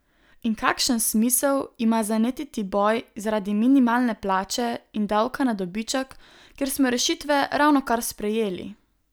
In kakšen smisel ima zanetiti boj zaradi minimalne plače in davka na dobiček, kjer smo rešitve ravnokar sprejeli?